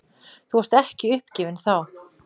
Þú varst ekki uppgefinn þá.